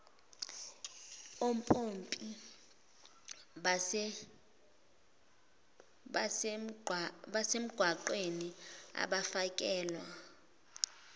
ompompi basemgwaqeni abafakelwa